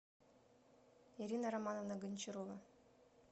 ирина романовна гончарова